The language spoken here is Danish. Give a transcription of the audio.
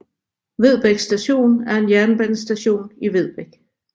Vedbæk Station er en jernbanestation i Vedbæk